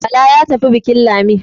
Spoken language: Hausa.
Bala ya tafi bukin Lami